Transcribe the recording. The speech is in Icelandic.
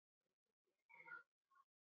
Bæði ljóð og sögur.